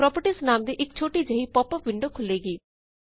properties ਨਾਮ ਦੀ ਇਕ ਛੋਟੀ ਜਿਹੀ ਪੌਪ ਅਪ ਵਿੰਡੋ ਖੁੱਲੇਗੀ